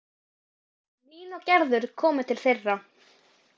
Nína og Gerður komu til þeirra.